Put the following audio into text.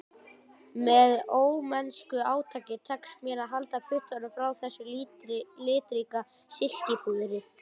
Með ómennsku átaki tekst mér að halda puttunum frá þessu litríka silkipúðri